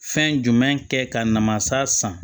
Fɛn jumɛn kɛ ka na masa san